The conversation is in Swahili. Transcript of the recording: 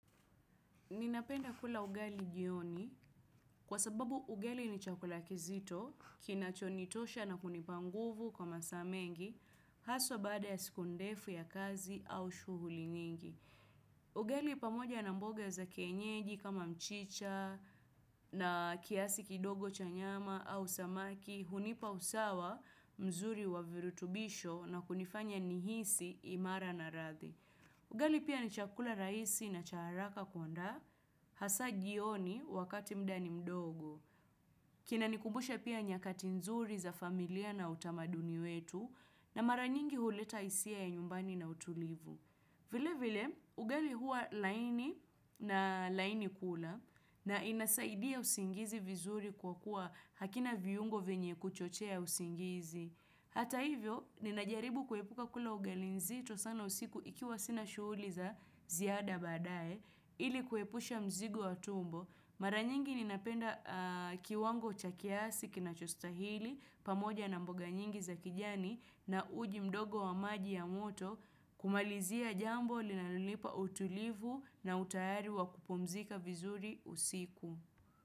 Ninapenda kula ugali jioni kwa sababu ugali ni chakula kizito kina chonitosha na kunipanguvu kwa masaa mengi haswa baada ya siku ndefu ya kazi au shuhuli nyingi. Ugali pamoja na mboga za kienyeji kama mchicha na kiasi kidogo cha nyama au samaki hunipa usawa mzuri wa virutubisho na kunifanya nihisi imara na radhi. Ugali pia ni chakula raisi na cha haraka kuandaa hasa jioni wakati mdaa ni mdogo. Kina nikumbusha pia nyakati nzuri za familia na utamaduni wetu na maranyingi huleta isia ya nyumbani na utulivu. Vile vile, ugali huwa laini na laini kula na inasaidia usingizi vizuri kwa kuwa hakina viungo vyenye kuchochea usingizi. Hata hivyo, ninajaribu kuepuka kula ugali nzito sana usiku ikiwa sina shuhuli za ziada badaye ili kuepusha mzigo wa tumbo. Mara nyingi ninapenda kiwango cha kiasi kinachostahili pamoja na mboga nyingi za kijani na uji mdogo wa maji ya moto kumalizia jambo linalonipa utulivu na utayari wa kupumzika vizuri usiku.